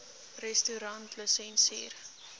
restaurantlisensier